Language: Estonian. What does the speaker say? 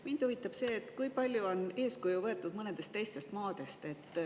Mind huvitab see, kui palju on eeskuju võetud mõnedest teistest maadest.